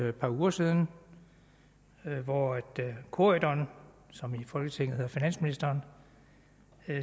et par uger siden hvori corydon som i folketinget hedder finansministeren